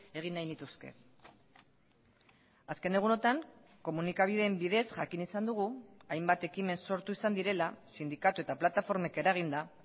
egin nahi nituzke azken egunotan komunikabideen bidez jakin izan dugu hainbat ekimen sortu izan direla sindikatu eta plataformek eraginda